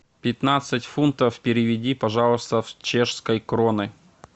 пятнадцать фунтов переведи пожалуйста в чешской кроны